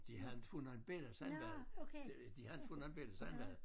De havde inte fået nogle bella sådan var det de havde inte fået nogle bella sådan var det